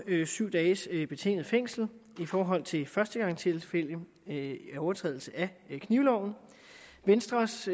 syv dages betinget fængsel i forhold til førstegangstilfælde ved overtrædelse af knivloven venstres